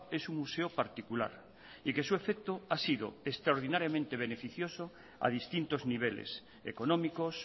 es un museo particular y que su efecto ha sido extraordinariamente beneficioso a distintos niveles económicos